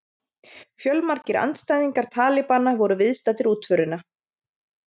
Fjölmargir andstæðingar talibana voru viðstaddir útförina